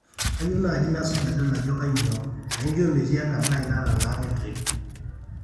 kayieu naaji nasuj adol ajo kainyoo naijo metii enkarna aai natalaa e trip